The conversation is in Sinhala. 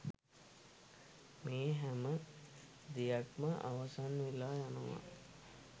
මේ හැම දෙයක්ම අවසන් වෙලා යනවා.